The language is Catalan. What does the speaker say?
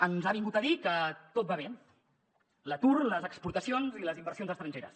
ens ha vingut a dir que tot va bé l’atur les exportacions i les inversions estrangeres